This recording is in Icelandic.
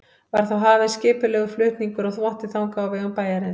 Var þá hafinn skipulegur flutningur á þvotti þangað á vegum bæjarins.